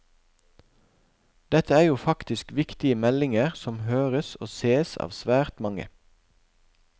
Dette er jo faktisk viktige meldinger som høres og sees av svært mange.